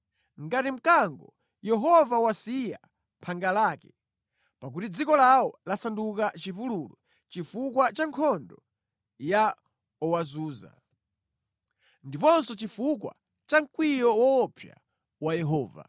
Ngati mkango, Yehova wasiya phanga lake, pakuti dziko lawo lasanduka chipululu chifukwa cha nkhondo ya owazunza ndiponso chifukwa cha mkwiyo woopsa wa Yehova.